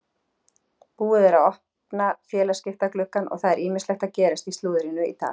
Búið er að opna félagaskiptagluggann og það er ýmislegt að gerast í slúðrinu í dag.